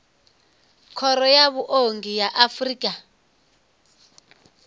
khoro ya vhuongi ya afrika